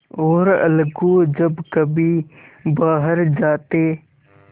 और अलगू जब कभी बाहर जाते